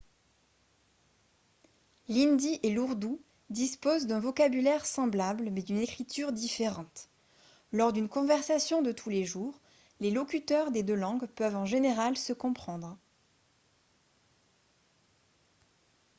l'hindi et l'ourdou disposent d'un vocabulaire semblable mais d'une écriture différente lors d'une conversation de tous les jours les locuteurs des deux langues peuvent en général se comprendre